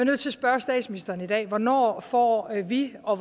nødt til spørge statsministeren i dag hvornår får vi og